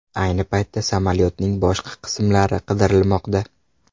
Ayni paytda samolyotning boshqa qismlari qidirilmoqda.